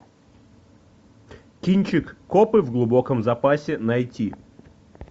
кинчик копы в глубоком запасе найти